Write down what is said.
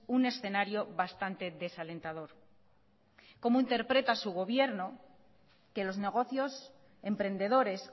un escenario bastante desalentador cómo interpreta su gobierno que los negocios emprendedores